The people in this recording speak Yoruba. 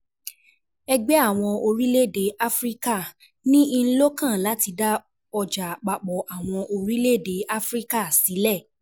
Ẹgbẹ́ Àwọn Orílẹ̀-èdè Áfíríkà (AU) ní in lọ́kàn láti dá Ọjà Àpapọ̀ Àwọn Orílẹ̀-èdè Áfíríkà sílẹ̀.